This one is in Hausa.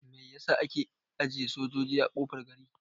Mai yasa ake ajiye sojoji a kofar gari?